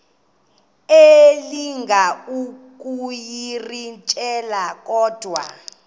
elinga ukuyirintyela kodwa